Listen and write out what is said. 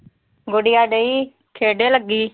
ਗੁਡੀਆ ਡਈ। ਖੇਡੇ ਲੱਗੀ।